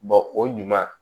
o ɲuman